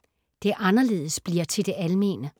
Det anderledes bliver til det almene